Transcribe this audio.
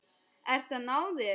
Ert að ná þér.